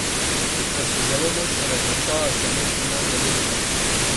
Ker so zelo močnega značaja, se moški nanje lepijo!